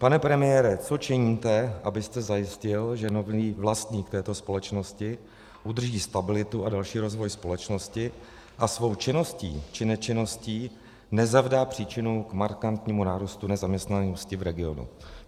Pane premiére, co činíte, abyste zajistil, že nový vlastník této společnosti udrží stabilitu a další rozvoj společnosti a svou činností či nečinností nezavdá příčinu k markantnímu nárůstu nezaměstnanosti v regionu?